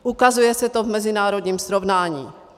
Ukazuje se to v mezinárodním srovnání.